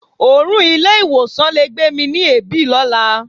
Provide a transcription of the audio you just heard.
Òórùn ilé-ìwọ̀sàn le gbé mi ni èébì lọ́la.